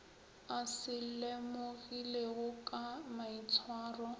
a se lemogilego ka maitshwaro